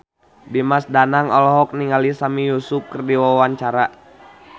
Dimas Danang olohok ningali Sami Yusuf keur diwawancara